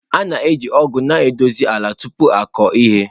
A na-eji ọgụ na-edozi ala tupu ịkụ ihe.